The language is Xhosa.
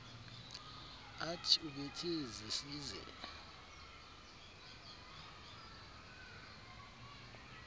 art ubethe zesize